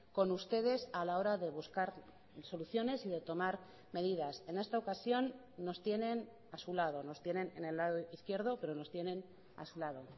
con ustedes a la hora de buscar soluciones y de tomar medidas en esta ocasión nos tienen a su lado nos tienen en el lado izquierdo pero nos tienen a su lado